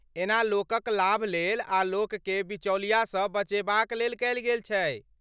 एना लोकक लाभ लेल आ लोकके बिचौलियासँ बचेबाक लेल कयल गेल छै।